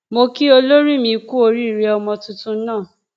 mo kí olórí mi kú oríire ọmọ tuntun náà